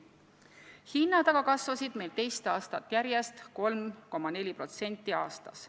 Hinnad aga kasvasid meil teist aastat järjest 3,4% aastas.